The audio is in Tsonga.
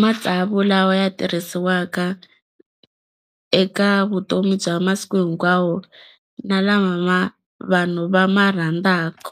matsavu lawa ya tirhisiwaka eka vutomi bya masiku hinkwawo na lama ma vanhu va ma rhandzaka.